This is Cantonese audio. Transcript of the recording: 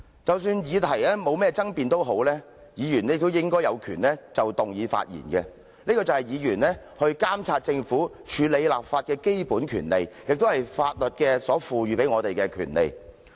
即使議題沒有爭議性，議員亦應有權就議案發言，這是議員監察政府和處理立法工作的基本權利，也是法律賦予議員的權利。